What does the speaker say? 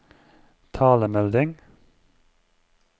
talemelding